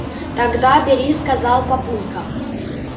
тогда бери сказал папулька